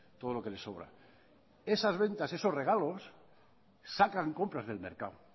todo lo que le sobra esas ventas esos regalos sacan compras del mercado